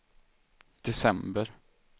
december